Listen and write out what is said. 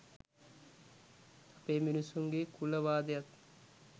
අපේ මිනිස්සුන්ගේ කුල වාදයත්